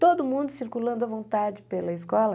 Todo mundo circulando à vontade pela escola.